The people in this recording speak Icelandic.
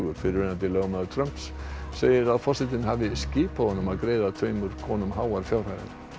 fyrrverandi lögmaður Trumps segir að forsetinn hafi skipað honum að greiða tveimur konum háar fjárhæðir